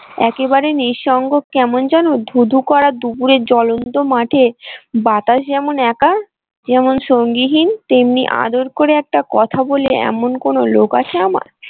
একেবারে নিঃসঙ্গ কেমন জানো ধুধু করা দুপুরের জ্বলন্ত মাঠে বাতাস যেমন একা যেমন সঙ্গীহীন তেমনি আদর করে একটা কথা বলে এমন কোন লোক আছে আমার।